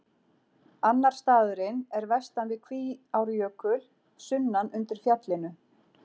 Annar staðurinn er vestan við Kvíárjökul, sunnan undir fjallinu.